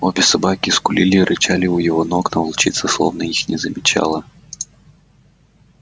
обе собаки скулили рычали у его ног но волчица словно их не замечала